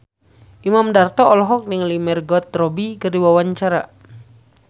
Imam Darto olohok ningali Margot Robbie keur diwawancara